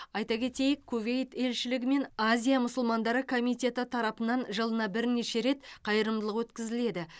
айта кетейік кувейт елшілігі мен азия мұсылмандары комитеті тарапынан жылына бірнеше рет қайырымдылық өткізіледі